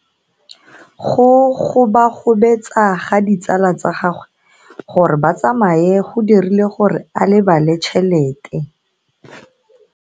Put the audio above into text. Go gobagobetsa ga ditsala tsa gagwe, gore ba tsamaye go dirile gore a lebale tšhelete.